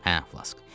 Hə, Flas.